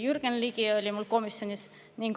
Jürgen Ligi oli samuti komisjonis kohal.